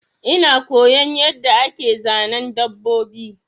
Ina koyon yanda ake Zanen dabbobi